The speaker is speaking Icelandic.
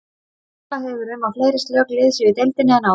Talað hefur verið um að fleiri slök lið séu í deildinni en áður.